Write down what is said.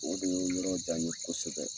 O kun ye yɔrɔ kosɛbɛ.